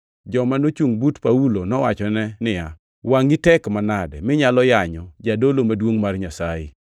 Joma nochungʼ but Paulo nowachone niya, “Wangʼi tek manade minyalo yanyo jadolo maduongʼ mar Nyasaye?”